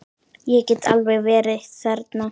Ég get alveg verið þerna.